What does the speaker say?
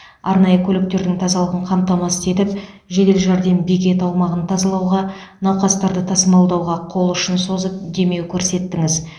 арнайы көліктердің тазалығын қамтамасыз етіп жедел жәрдем бекеті аумағын тазалауға науқастарды тасымалдауға қол ұшын созып демеу көрсеттіңіз